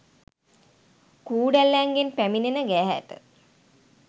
කූඩැල්ලන්ගෙන් පැමිණෙන ගැහැට